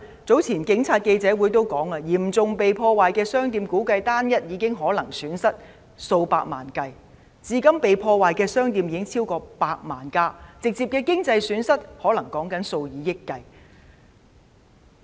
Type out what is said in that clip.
早前警察記者會也指出，對於被嚴重破壞的商店，估計有單一店鋪損失達數百萬元，至今被破壞的店鋪已超過100間，直接的經濟損失可能是數以億元計。